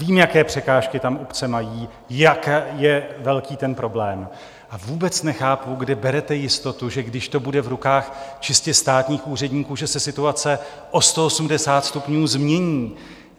Vím, jaké překážky tam obce mají, jak je velký ten problém, a vůbec nechápu, kde berete jistotu, že když to bude v rukách čistě státních úředníků, že se situace o 180 stupňů změní.